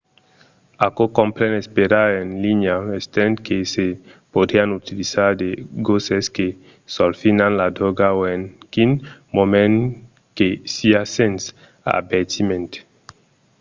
aquò compren esperar en linha estent que se podrián utilizar de gosses que solfinan la dròga o en quin moment que siá sens avertiment